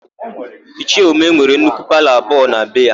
Ichie Umeh nwere nnukwu palọ abụọ na be ya.